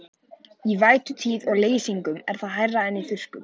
Í vætutíð og leysingum er það hærra en í þurrkum.